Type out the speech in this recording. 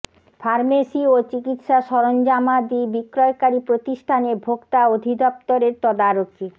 pharmacy ও চিকিৎসা সরঞ্জামাদি বিক্রয়কারী প্রতিষ্ঠানে ভোক্তা অধিদপ্তরের তদারকি